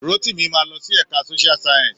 Rótìmí máa lọ sí ẹ̀ka Social science.